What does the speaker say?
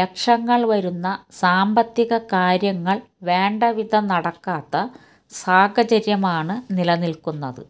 ലക്ഷങ്ങള് വരുന്ന സാമ്പത്തിക കാര്യങ്ങള് വേണ്ട വിധം നടക്കാത്ത സാഹചര്യമാണ് നിലനില്ക്കുന്നത്